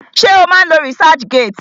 Ṣé o má ń lo researchgate?